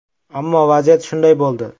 Ammo, vaziyat shunday bo‘ldi.